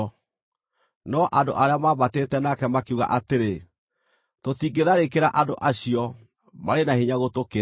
No andũ arĩa maambatĩte nake makiuga atĩrĩ, “Tũtingĩtharĩkĩra andũ acio, marĩ na hinya gũtũkĩra.”